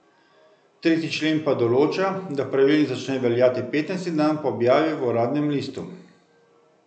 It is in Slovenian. Tretji člen pa določa, da pravilnik začne veljati petnajsti dan po objavi v uradnem listu.